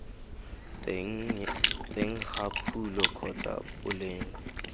teng ga phulo kgotsa boleng